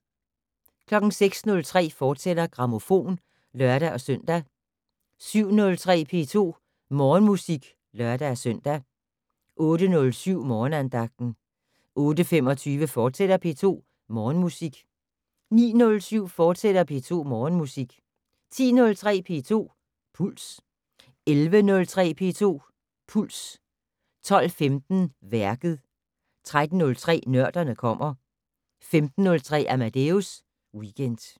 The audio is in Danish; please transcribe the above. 06:03: Grammofon, fortsat (lør-søn) 07:03: P2 Morgenmusik (lør-søn) 08:07: Morgenandagten 08:25: P2 Morgenmusik, fortsat 09:07: P2 Morgenmusik, fortsat 10:03: P2 Puls 11:03: P2 Puls 12:15: Værket 13:03: Nørderne kommer 15:03: Amadeus Weekend